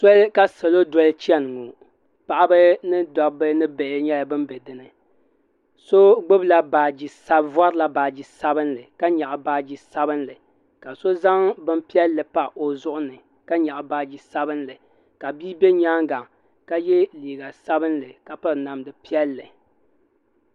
Sole ka salo doli chɛni ŋɔ paɣaba ni dabbi ni bihi yɛla bani bɛ dini so vorila baaji sabinli ka nyɛɣi baaji sabinli ka so zaŋ bini piɛlli pa o zuɣu ni ka yɛɣi baaji sabinli ka bia bɛ yɛanga ka ye liiga sabinli ka piri namda piɛli.